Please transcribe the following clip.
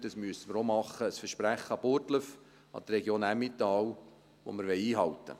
Das müssen wir auch machen: ein Versprechen an Burgdorf, an die Region Emmental, das wir einhalten wollen.